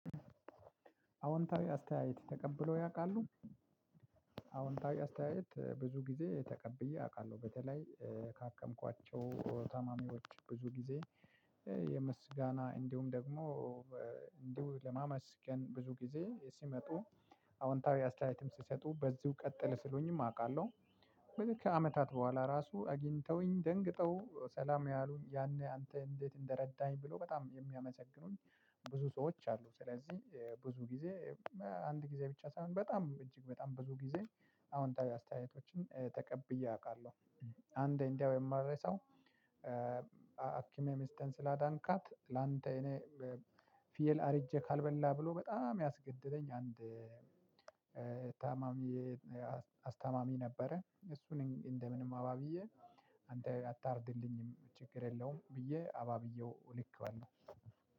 አውንታዊ አስተያየት ተቀብሎ ያውቃሉ። አውንታዊ አስተያየት ብዙ ጊዜ ተቀብዬ አውቃለሁ በተለይ ካከምኳቸው ታማሚዎች ብዙ ጊዜ የምስጋና እንዲሁም ደግሞ እንዲሁ ለማመስገን ብዙ ጊዜ ሲመጡ አውንታዊ አስተያየትም ሲሰጡ በዚሁ ቀጥል ስሉኝም አውቃለሁ። ከአመታት በኋላ ራሱ አጊኝተውኝ ደንግጠው ሰላም ያሉ ያኒኔ ያንተ እንዴት እንደረዳሀኝ ብሎ በጣም የሚያመሰግኑኝ ብዙ ሰዎች አሉ። ስለዚህ ብዙ ጊዜ አንድ ጊዜ ብቻ ሳይሆን በጣም እጅግ በጣም ብዙ ጊዜ አውንታዊ አስተያየቶችን ተቀብዬ አውቃለሁ። አንድ እንደው የማልረሳው። ህክመህ ሚስቴን ስላዳንካት ላንተ እኔ ፊየል አርጄ ካልበላ ብሎ በጣም ያስገደደኝ አንድ ታማሚ አስታማሚ ነበረ እሱን እንደ ምንም አባብዬ አንተ አታርድልኝም ችግር የለውም ብዬ አባብዬው ልኬዋለው።